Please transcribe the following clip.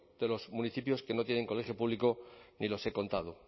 de los municipios que no tienen colegio público ni los he contado